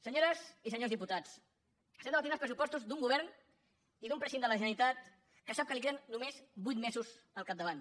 senyores i senyors diputats estem debatent els pressupostos d’un govern i d’un president de la generalitat que sap que li queden només vuit mesos al capdavant